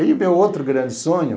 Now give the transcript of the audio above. E o meu outro grande sonho,